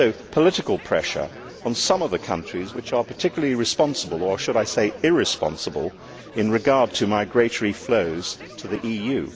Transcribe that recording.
Political pressure should also be put on some of the countries which are particularly responsible or should I say irresponsible with regard to migratory flows to the EU.